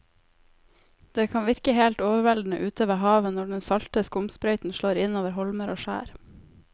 Det kan virke helt overveldende ute ved havet når den salte skumsprøyten slår innover holmer og skjær.